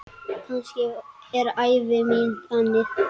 Kannski er ævi mín þannig.